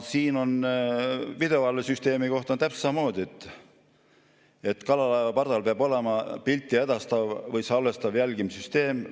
Videovalvesüsteemi kohta on täpselt samamoodi: "Kalalaevade pardal peab olema pilti edastav või salvestav jälgimissüsteem.